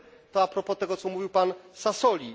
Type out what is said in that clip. To propos tego, co mówił pan Sassoli.